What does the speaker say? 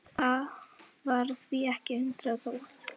Það var því ekki að undra þótt